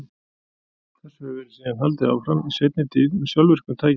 Þessu hefur síðan verið haldið áfram, í seinni tíð með sjálfvirkum tækjum.